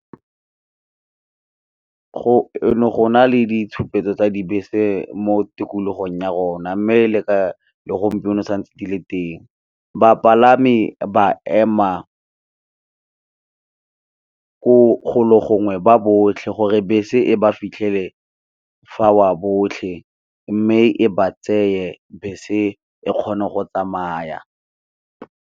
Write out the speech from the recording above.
Go ne go na le ditshupetso tsa dibese mo tikologong ya rona mme, le gompieno sa ntse di le teng. Bapalami ba ema ko golo gongwe ba botlhe gore bese e ba fitlhele fa wa botlhe mme, e ba tseye bese e kgone go tsamaya.